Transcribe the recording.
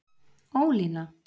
Ólína